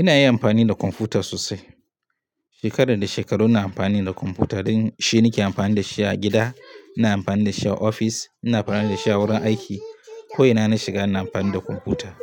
Ina yin amfani da kwamfuta sosai. Shekara da shekaru ina amfani da kwamfuta. Dan shine nake amfani da shi a gida, ina amfani da shi a ofis, ina amfani da shi a wurin aiki. Ko ina na shiga ina amfani da kwamfuta.